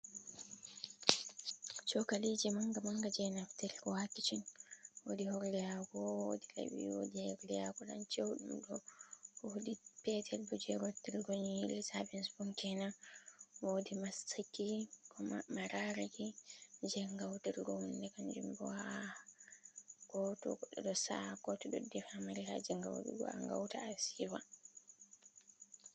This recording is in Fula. Chokaliji manga manga je naftirgo ha kichin, woodi horde hako, wodi laɓi, woodi horde hako ɗan cheuɗum ɗo, woodi petel bo je rottirgo nyiiri savin spun kenan, woodi mastiki, ko ma mararaki je ngautirgo hunde kanjumbo ha ko to goɗɗo ɗo sa’a, ko to goɗɗo ɗo defa mari haaje ngautugo a ngauta a siiwa.